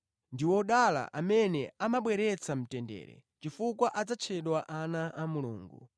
Ndi odala amene amabweretsa mtendere, chifukwa adzatchedwa ana a Mulungu.